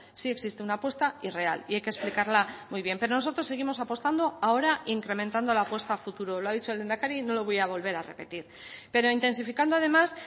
sí existe una apuesta y real y hay que explicarla muy bien pero nosotros seguimos apostando ahora incrementando la apuesta a futuro lo ha dicho el lehendakari y no lo voy a volver a repetir pero intensificando además